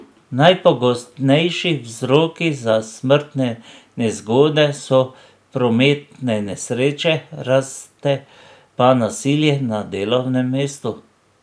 Najpogostnejši vzroki za smrtne nezgode so prometne nesreče, raste pa nasilje na delovnem mestu.